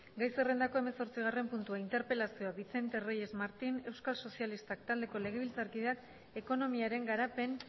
gai zerrendako hemezortzigarren puntua interpelazioa vicente reyes martín euskal sozialistak taldeko legebiltzarkideak ekonomiaren garapen